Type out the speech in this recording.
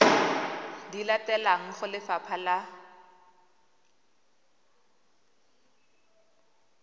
di latelang go lefapha la